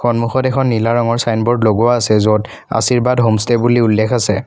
সন্মুখত এখন নীলা ৰঙৰ ছাইনব'ৰ্ড লগোৱা আছে য'ত আশীৰ্বাদ হ'মষ্টেই বুলি উল্লেখ আছে।